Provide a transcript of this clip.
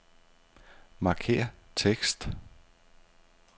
Markér tekst.